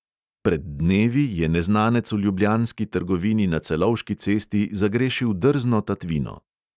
Pred dnevi je neznanec v ljubljanski trgovini na celovški cesti zagrešil drzno tatvino.